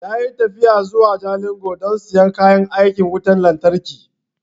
Ya yi tafiya zuwa Jalingo don siyan kayan aikin wutan lantarki